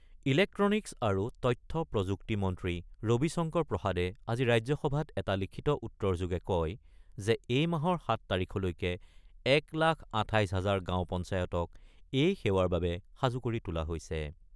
Electronics আৰু তথ্য প্ৰযুক্তি মন্ত্ৰী ৰবি শংকৰ প্ৰসাদে আজি ৰাজ্যসভাত এটা লিখিত উত্তৰ যোগে কয় যে এই মাহৰ ৭ তাৰিখলৈকে ১ লাখ ২৮ হাজাৰ গাওঁ পঞ্চায়তক এই সেৱাৰ বাবে সাজু কৰি তোলা হৈছে।